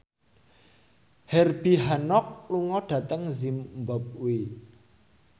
Herbie Hancock lunga dhateng zimbabwe